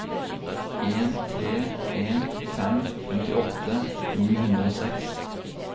en tre en fem femtiåtte ni hundre og seks